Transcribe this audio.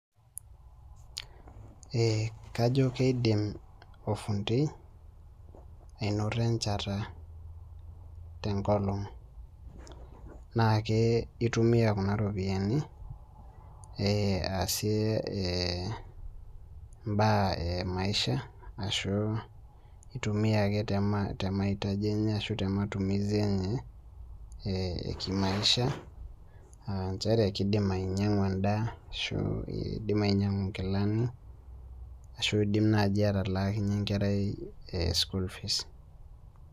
Ee kajo kiidim ofundi anoto enchata tenkolong' naa ke itumia kuna ropiyiani asie mbaa e maisha ashu itumia ake te maitaji enye ashu te matumizi enye ee eki maisha aa nchere kiidim ainyiang'u endaa niidim ainyiang'u nkilani ashu idim naai atalaakinyie enkerai school fees.